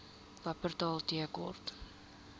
wupperthal tea court